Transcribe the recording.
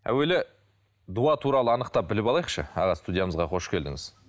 әуелі дуа туралы анықтап біліп алайықшы аға студиямызға қош келдіңіз